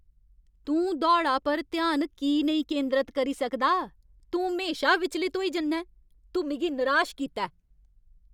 तूं दौड़ा पर ध्यान की नेईं केंदरत करी सकदा? तूं म्हेशा विचलत होई जन्ना ऐं। तूं मिगी नराश कीता ऐ।